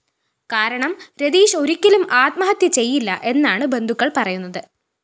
കാരണം രതീഷ് ഒരിക്കലും ആത്മഹത്യ ചെയ്യില്ല എന്നാണ് ബന്ധുക്കള്‍ പറയുന്നത്